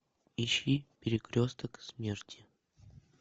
ищи перекресток смерти